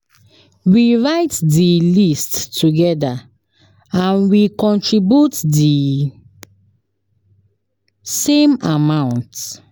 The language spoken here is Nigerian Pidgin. We write di list togeda and we contribute di same amount.